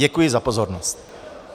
Děkuji za pozornost.